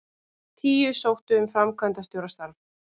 Tíu sóttu um framkvæmdastjórastarf